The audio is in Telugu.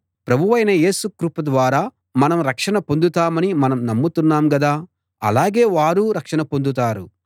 ప్రభువైన యేసు కృప ద్వారా మనం రక్షణ పొందుతామని మనం నమ్ముతున్నాం గదా అలాగే వారూ రక్షణ పొందుతారు